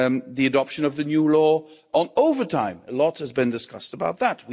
The adoption of the new law on overtime a lot has been discussed about that.